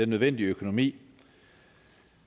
nødvendige økonomi